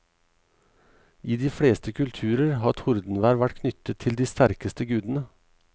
I de fleste kulturer har tordenvær vært knyttet til de sterkeste gudene.